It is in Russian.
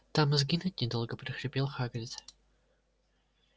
там и сгинуть недолго прохрипел хагрид